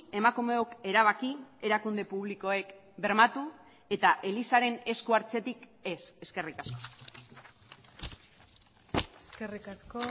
emakumeok erabaki erakunde publikoek bermatu eta elizaren esku hartzetik ez eskerrik asko eskerrik asko